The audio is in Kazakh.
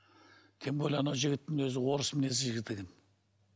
тем более анау жігіттің өзі орыс мінезді жігіт екен